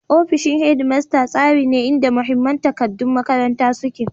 Ofishin Headmaster tsari ne inda mahimman takaddun makaranta suke.